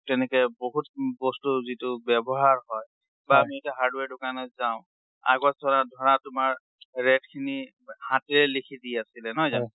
তেনেকে বহুত বস্তু যিটো ব্যাৱহাৰ হয় বা আমি এতিয়া hardware দোকানত যাওঁ, আগত ধৰা তোমাৰ rate খিনি হাতেৰে লিখি দি আছিলে, নহয় জানো?